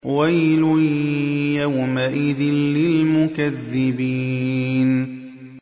وَيْلٌ يَوْمَئِذٍ لِّلْمُكَذِّبِينَ